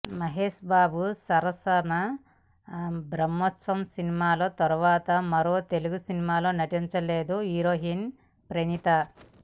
మహేష్ బాబు సరసన బ్రహ్మోత్సవం సినిమా తర్వాత మరో తెలుగు సినిమలో నటించలేదు హీరోయిన్ ప్రణీత